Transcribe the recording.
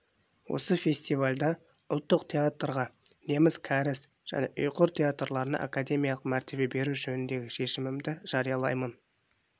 осы фестивальда ұлттық театрға неміс кәріс және ұйғыр театрларына академиялық мәртебе беру жөніндегі шешімімді жариялаймын